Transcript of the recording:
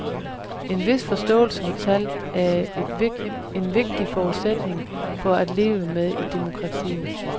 En vis forståelse for tal er en vigtig forudsætning for at leve med i demokratiet.